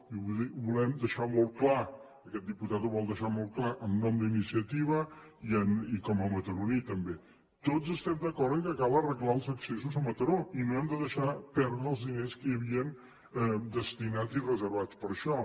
i ho volem deixar molt clar aquest diputat ho vol deixar molt clar en nom d’iniciativa i com a mataroní també tots estem d’acord que cal arreglar els accessos a mataró i no hem de deixar perdre els diners que hi havien destinats i reservats per a això